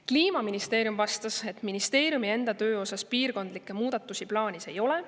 Kliimaministeerium vastas, et ministeeriumi enda töö osas piirkondlikke muudatusi plaanis ei ole.